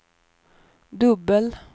dubbel